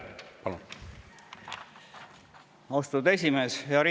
Austatud esimees!